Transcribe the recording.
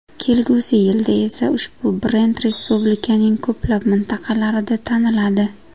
Kelgusi yilda esa ushbu brend respublikaning ko‘plab mintaqalarida taniladi.